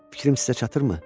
Fikrim sizə çatmırmı?